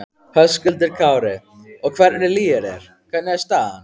Höskuldur Kári: Og hvernig líður þér, hvernig er staðan?